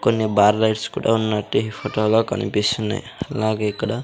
కొన్ని bar lights కూడా ఉన్నట్టు ఈ ఫొటో లో కనిపిస్తున్నయ్ అలాగే ఇక్కడ--